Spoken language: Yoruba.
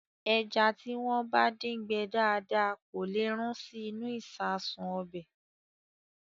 Ẹja tí wọ́n bá dín gbẹ dáadáa kò lè rún sí inú ìṣasùn ọbẹ̀.